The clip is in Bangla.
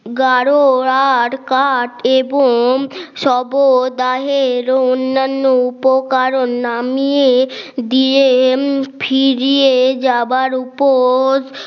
গাড়ো আর কাট এবোম শবদাহের অন্যান্য উপকরণ নামিয়ে দিয়ে ফিরিয়ে যাবার উপর